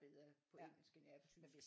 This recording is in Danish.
Bedre på engelsk end jeg er på tysk